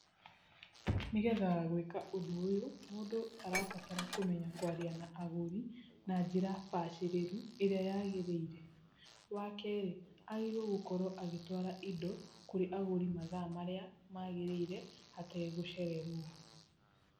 Nĩgetha gwĩka ũndũ ũyu, mũndũ arabatara kũmenya kwaria na agũri na njĩra bacĩrĩru ĩrĩa yagĩrĩire. Wakerĩ, agĩrĩirwo gũkorwo agĩtwara indo kũrĩ agũri mathaa marĩa magĩrĩire hatee gũcererwo.